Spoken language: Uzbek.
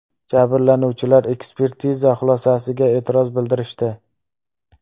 Jabrlanuvchilar ekspertiza xulosasiga e’tiroz bildirishdi.